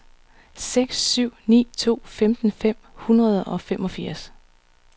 seks syv ni to femten fem hundrede og femogfirs